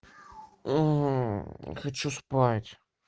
уу хочу спать